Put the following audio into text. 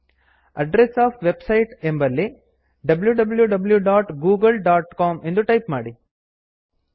address of website address of website ಎಂಬಲ್ಲಿ wwwgooglecom ಎಂದು type ಮಾಡಿ